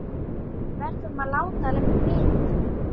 Við verðum að láta vita.